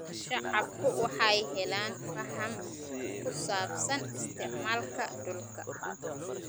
Shacabku waxay helaan faham ku saabsan isticmaalka dhulka.